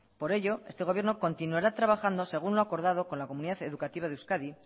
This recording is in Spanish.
por ello este gobierno continuará trabajando según lo acordado con la comunidad educativa de euskadi